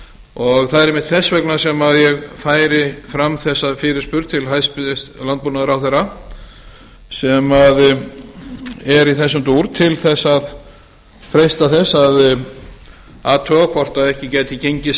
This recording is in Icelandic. og það er einmitt þess vegna sem ég færi fram þessa fyrirspurn til hæstvirts landbúnaðarráðherra sem er í þessum dúr til þess að freista þess að athuga hvort ekki gæti gengið